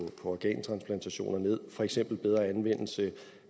organtransplantationer ned for eksempel ved bedre anvendelse